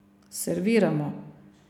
Serviramo.